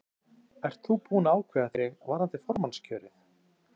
Breki: Ert þú búinn að ákveða þig varðandi formannskjörið?